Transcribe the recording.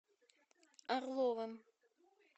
орловым